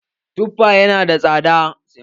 Tuffa ya na da tsada.